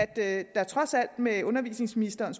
at der trods alt med de undervisningsministeren